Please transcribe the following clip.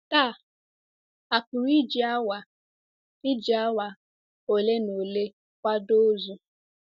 Taa, a pụrụ iji awa iji awa ole na ole kwado ozu.